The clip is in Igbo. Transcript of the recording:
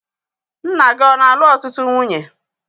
Nna gị ọ na-alụ ọtụtụ nwunye?